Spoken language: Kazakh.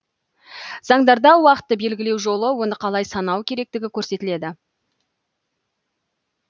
заңдарда уақытты белгілеу жолы оны қалай санау керектігі көрсетіледі